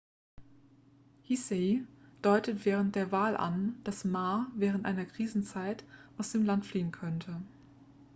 hsieh deutete während der wahl an dass ma während einer krisenzeit aus dem land fliehen könnte